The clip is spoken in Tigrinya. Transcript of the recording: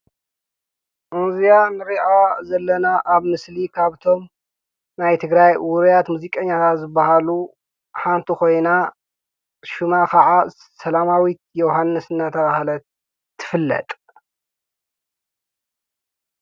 እዚኣ ነሪኣ ዘለና ኣብ ምስሊ ካብቶም ናይ ትግራይ ውሩያት ሙዚቀኛታት ዝበሃሉ ሓንቲ ኮይና ሽማ ከዓ ሰላማዊት ዮውሃንስ እንዳተባሃለት ትፍለጥ።